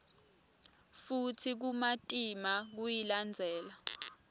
futsi kumatima kuyilandzela